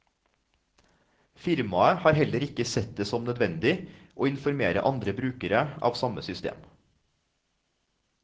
Firmaet har heller ikke sett det som nødvendig å informere andre brukere av samme system.